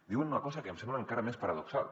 diuen una cosa que em sembla encara més paradoxal